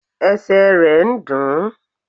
Esè re n dùn ún